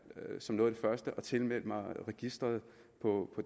som noget af det første at tilmelde mig registeret på